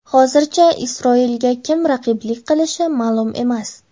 Hozircha Isroilga kim raqiblik qilishi ma’lum emas.